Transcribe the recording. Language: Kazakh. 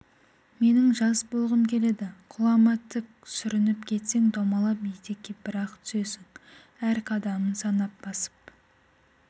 менің жас болғым келеді құлама тік сүрініп кетсең домалап етекке бір-ақ түсесің әр қадамын санап басып